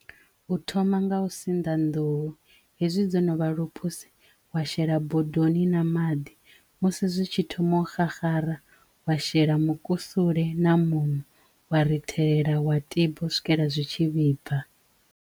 U thoma nga u sinḓa nḓuhu hezwi dzo no vha luphuse wa shela bodoni na maḓi musi zwi tshi thoma u xaxara wa shela mukusule na muṋo wa rithelela wa tiba u swikela zwi tshi vhibva.